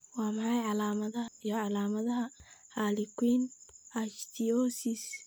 Waa maxay calaamadaha iyo calaamadaha Harlequin ichthyosis?